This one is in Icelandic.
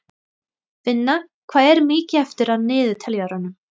Finna, hvað er mikið eftir af niðurteljaranum?